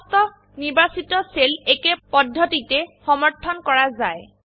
সমস্ত নিৰ্বাচিত সেল একেই পদ্ধতিতে সমৰ্থন কৰা যায়